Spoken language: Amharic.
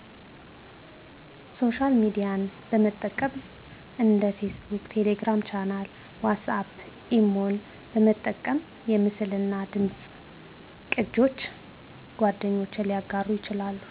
ሶሻል ሚድያን በጠቀም እንደ ፌስቡክ፣ ቴሌግራም ቻናል፣ ዋትስአፕ፣ ኢሞን በመጠቀም የምስልናደምፅ ቅጆች ጓደኞች ሊያጋሩ ይችላሉ